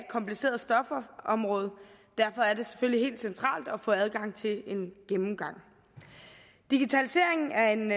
kompliceret stofområde og derfor er det selvfølgelig helt centralt at få adgang til en gennemgang digitaliseringen er en